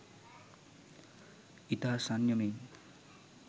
ඉතා සංයමයෙන්